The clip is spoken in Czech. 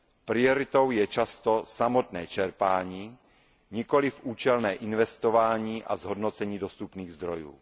Prioritou je často samotné čerpání, nikoliv účelné investování a zhodnocení dostupných zdrojů.